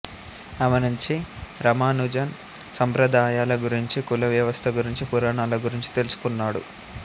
ఆమె నుంచి రామానుజన్ సంప్రదాయాల గురించి కుల వ్యవస్థ గురించి పురాణాల గురించి తెలుసుకున్నాడు